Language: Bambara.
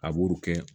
A b'o kɛ